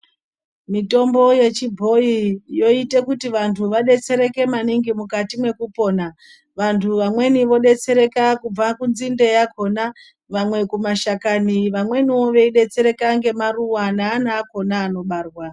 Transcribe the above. Mitombo yechibhoyi yoite kuti vantu vadetsereke maningi mukati mwekupona. Vantu vamweni vodetsereka kubva kunzinde yakona ,vamwe kumashakani ,vamweniwo veyidetsereka ngemaruwa neana akona anobarwa.